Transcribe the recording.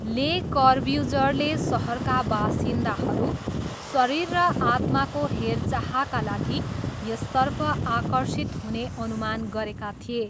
ले कर्ब्युजरले सहरका बासिन्दाहरू 'शरीर र आत्माको हेरचाहका लागि' यसतर्फ आकर्षित हुने अनुमान गरेका थिए।